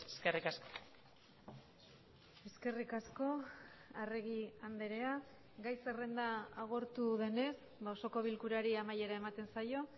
eskerrik asko eskerrik asko arregi andrea gai zerrenda agortu denez osoko bilkurari amaiera ematen zaio